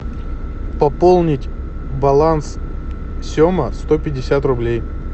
пополнить баланс сема сто пятьдесят рублей